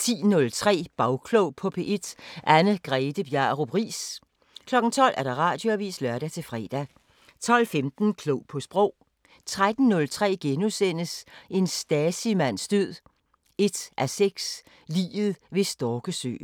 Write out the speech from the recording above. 10:03: Bagklog på P1: Anne-Grethe Bjarup Riis 12:00: Radioavisen (lør-fre) 12:15: Klog på Sprog 13:03: En Stasi-mands død 1:6: Liget ved Storkesøen *